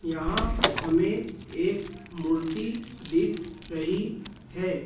यहां हमें एक मूर्ति दिख रही है।